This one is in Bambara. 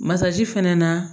Masaji fɛnɛ na